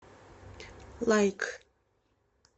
лайк